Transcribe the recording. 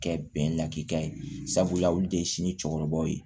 Kɛ bɛnkan ye sabula olu de ye sini cɛkɔrɔbaw ye